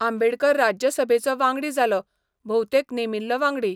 आंबेडकर राज्यसभेचो वांगडी जालो, भोवतेक नेमिल्लो वांगडी.